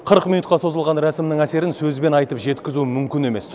қырық минутқа созылған рәсімнің әсерін сөзбен айтып жеткізу мүмкін емес